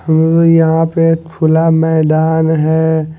हूं यहां पे खुला मैदान है।